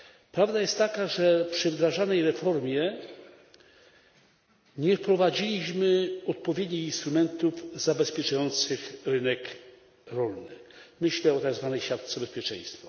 Prawda jest taka, że przy wdrażanej reformie nie wprowadziliśmy odpowiednich instrumentów zabezpieczających rynek rolny. Mam na myśli tak zwaną siatkę bezpieczeństwa.